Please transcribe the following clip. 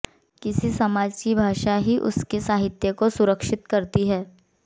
किसी समाज की भाषा ही उसके साहित्य को सुरक्षित करती है